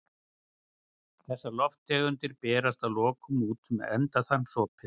Þessar lofttegundir berast að lokum út um endaþarmsopið.